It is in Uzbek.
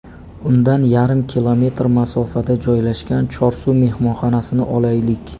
Undan yarim kilometr masofada joylashgan ‘Chorsu’ mehmonxonasini olaylik.